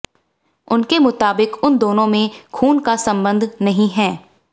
उसके मुताबिक उन दोनों में खून का संबंध नहीं है